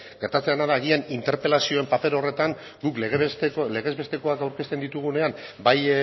gertatzen dena da agian interpelazioen paper horretan guk legez besteko aurkezten ditugunean bai